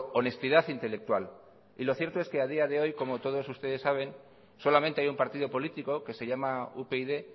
honestidad intelectual y lo cierto es que a día de hoy como todos ustedes saben solamente hay un partido político que se llama upyd